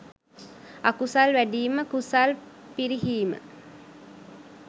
අකුසල් වැඞීම කුසල් පිරිහීම.